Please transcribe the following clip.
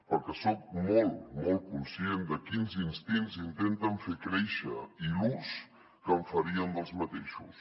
perquè soc molt molt conscient de quins instints intenten fer créixer i l’ús que farien d’aquests